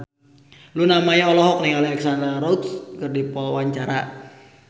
Luna Maya olohok ningali Alexandra Roach keur diwawancara